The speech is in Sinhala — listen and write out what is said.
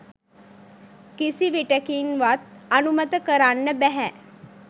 කිසි විටෙකින්වත් අනුමත කරන්න බැහැ